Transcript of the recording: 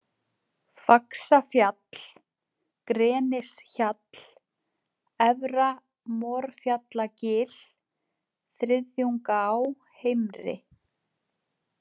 Faxafall, Grenishjall, Efra-Morfjallagil, Þriðjungaá-heimri